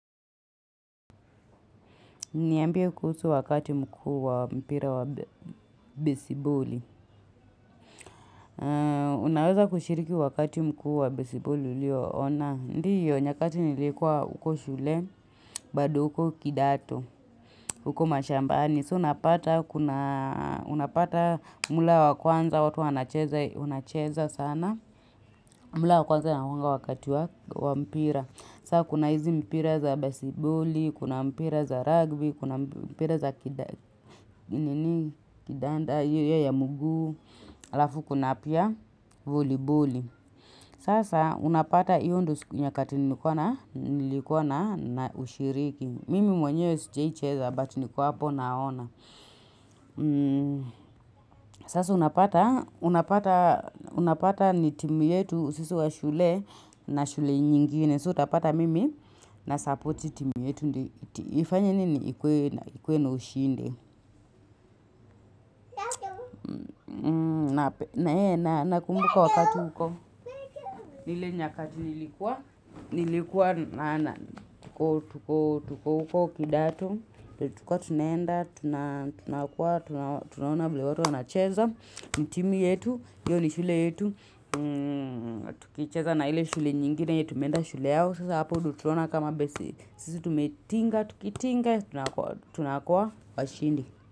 Niambie kuhusu wakati mkuu wa mpira wa besiboli. Unaweza kushiriki wakati mkuu wa besiboli ulioona? Ndio, nyakati nilikuwa huko shule, bado huko kidato, huko mashambani. So, unapata muhula wa kwanza, watu wanacheza sana. Muhula wa kwanza unakuanga wakati wa mpira. Saa kuna hizi mpira za besiboli, kuna mpira za ragbi, kuna mpira za kidanda, hiyo ya mguu, halafu kuna pia voliboli. Sasa unapata hiyo ndio siku nyakati nilikuwa naushiriki. Mimi mwenyewe sijaicheza but niko hapo naona. Sasa unapata ni timu yetu sisi wa shule na shule nyingine. So utapata mimi nasupport timu yetu. Ifanye nini, ikuwe na ushinde. Nakumbuka wakati huko. Ile nyakati nilikua. Nilikuwa na tuko uko kidato. Tulikuwa tunaenda, tunakuwa, tunaona vile watu wanacheza. Ni timu yetu, hiyo ni shule yetu. Tukicheza na ile shule nyingine yenye tumeenda shule yao. Sasa hapo ndio tutaona kama basi. Sisi tumetinga, tukitinga, tunakuwa washindi.